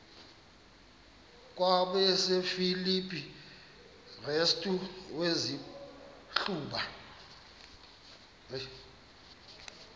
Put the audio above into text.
kwabasefilipi restu wazihluba